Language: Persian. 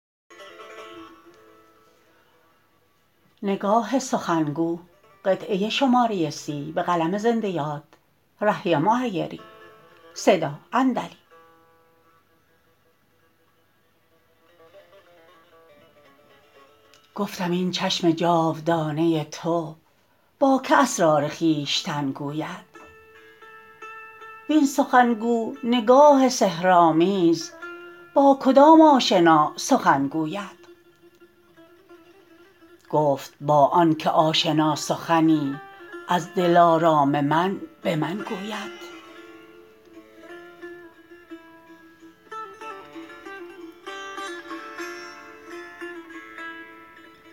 گفتم این چشم جاودانه تو با که اسرار خویشتن گوید وین سخن گو نگاه سحرآمیز با کدام آشنا سخن گوید گفت با آن که آشنا سخنی از دلارام من به من گوید